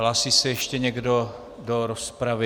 Hlásí se ještě někdo do rozpravy?